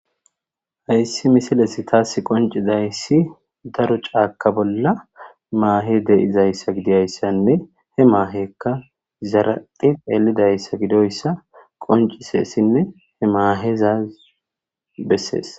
hayssi misiles taas qoncizayssi daro caaka bolla maahe de7izayssa gidiyayssanne he maahekka zaraphi elidayssa gidoyssa qonciseessinne he maahezaz bessees